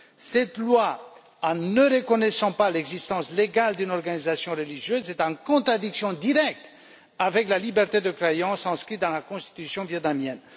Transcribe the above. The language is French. Cette loi, en ne reconnaissant pas l'existence légale d'une organisation religieuse, est en contradiction directe avec la liberté de croyance inscrite dans la Constitution vietnamienne.